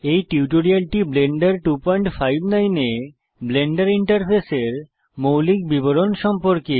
এই টিউটোরিয়ালটি ব্লেন্ডার 259 এ ব্লেন্ডার ইন্টারফেসের মৌলিক বিবরণ সম্পর্কে